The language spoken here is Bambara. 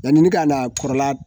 Yani ne k'a la kɔrɔla